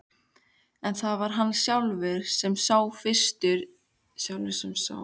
En það var hann sjálfur sem fyrstur sá til reiðmannsins.